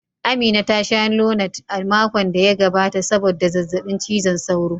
Amina ta sha Lonat a makon da ya gabata sabodda zazzabin cizon sauro.